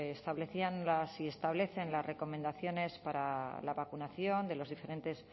establecían y establecen las recomendaciones para la vacunación de los diferentes